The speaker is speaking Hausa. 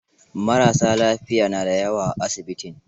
Marassa lafiya na da yawa a asibitin.